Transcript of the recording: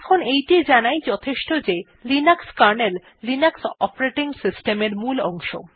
এখন এইটি জানাই যথেষ্ট যে Linux kernel Linux operating system এর মূল অংশ